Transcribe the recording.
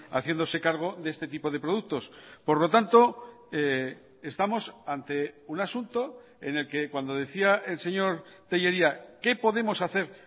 haciéndose cargo de este tipo de productos por lo tanto estamos ante un asunto en el que cuando decía el señor tellería qué podemos hacer